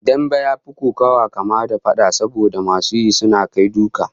Dambe ya fi kokawa kama da fada, saboda masu yi suna kai duka